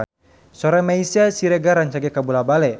Sora Meisya Siregar rancage kabula-bale